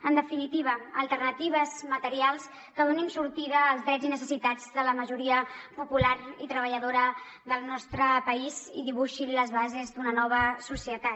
en definitiva alternatives materials que donin sortida als drets i necessitats de la majoria popular i treballadora del nostre país i dibuixin les bases d’una nova societat